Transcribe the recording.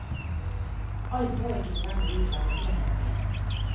Alt må ikke nødvendigvis være enhetlig.